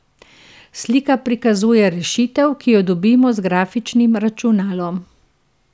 Slika prikazuje rešitev, ki jo dobimo z grafičnim računalom.